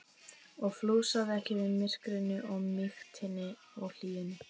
og fúlsaði ekki við myrkrinu og mýktinni og hlýjunni.